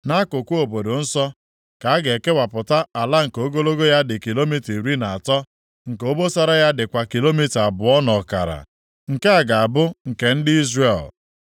“ ‘Nʼakụkụ obodo nsọ ka a ga-ekewapụta ala nke ogologo ya dị kilomita iri na atọ, nke obosara ya dịkwa kilomita abụọ na ọkara, nke a ga-abụ nke ndị Izrel.